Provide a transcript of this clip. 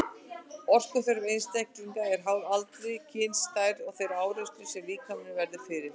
Orkuþörf einstaklinga er háð aldri, kyni, stærð og þeirri áreynslu sem líkaminn verður fyrir.